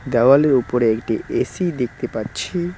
দেওয়ালের ওপরে একটি এ_সি দেখতে পাচ্ছি।